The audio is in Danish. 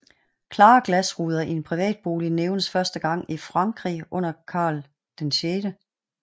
Klare glasruder i en privatbolig nævnes første gang i Frankrig under Karl VI